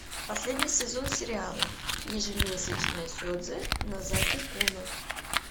последний сезон сериала ежемесячное седзе нозаки куна